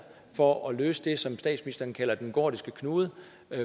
for at løse det som statsministeren kalder den gordiske knude